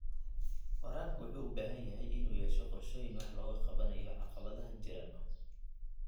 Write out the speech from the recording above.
Waraabka wuxuu u baahan yahay inuu yeesho qorshooyin wax looga qabanayo caqabadaha jira.